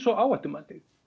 og áhættumatið